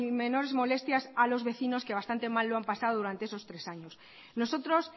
menores molestias a los vecinos que bastante mal lo han pasado durante esos tres años nosotros